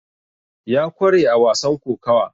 ya kware a wasan kokawa